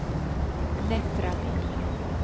Nättraby